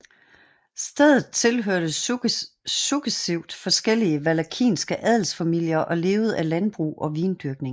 Stedet tilhørte successivt forskellige walakiske adelsfamilier og levede af landbrug og vindyrkning